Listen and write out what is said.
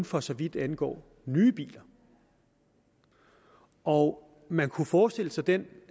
for så vidt angår nye biler og man kunne forestille sig den